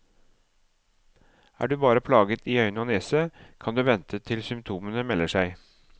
Er du bare plaget i øyne og nese, kan du vente til symptomene melder seg.